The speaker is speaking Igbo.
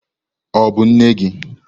Ọ bụ nne gị?